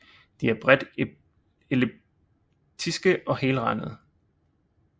De er bredt elliptiske og helrandede